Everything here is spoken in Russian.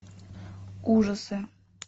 ужасы